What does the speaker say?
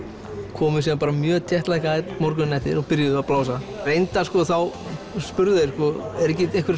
komu síðan bara mjög morguninn eftir og byrjuðu að blása reyndar sko þá spurðu þeir eru ekki einhverjir